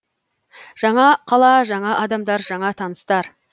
жаңа қала жаңа адамдар жаңа таныстар